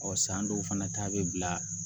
Ɔ san dɔw fana ta bɛ bila